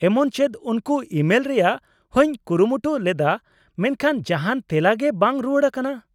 ᱮᱢᱚᱱ ᱪᱮᱫ ᱩᱱᱠᱩ ᱤᱢᱮᱞ ᱨᱮᱭᱟᱜ ᱦᱚᱸᱧ ᱠᱩᱨᱩᱢᱩᱴᱩ ᱞᱮᱫᱟ ᱢᱮᱱᱠᱷᱟᱱ ᱡᱟᱦᱟᱸᱱ ᱛᱮᱞᱟ ᱜᱮ ᱵᱟᱝ ᱨᱩᱣᱟᱹᱲ ᱟᱠᱟᱱᱟ ᱾